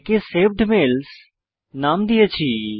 একে saved mails নাম দিয়েছি